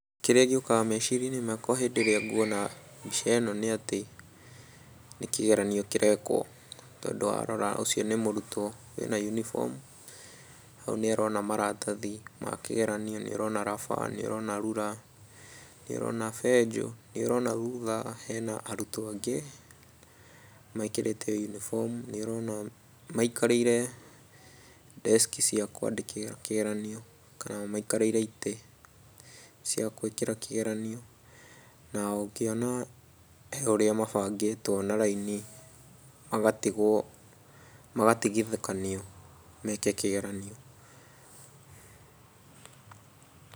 Kĩrĩa gĩũkaga meciria-inĩ makwa hĩndĩ ĩrĩa nguona mbica ĩno nĩatĩ nĩkĩgeranio kĩrekwo, tondũ warora ũcio nĩ mũrutwo wĩna uniform hau nĩũrona maratathi makĩgeranio, nĩũrona raba, nĩũrona rura, nĩũrona benjũ, nĩũrona thutha hena arutwo angĩ mekĩrĩte o uniform nĩũrona maikarĩire deski cia kũandĩkĩra kĩgeranio kana maikarĩire itĩ cia gwĩkĩra kĩgeranio, na ũngĩona he ũrĩa mabangĩtwo na raini magatigwo, magatigithũkanio meke kĩgeranio.